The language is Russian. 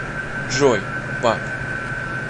джой пап